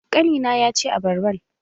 Ƙani na ya ci abarban.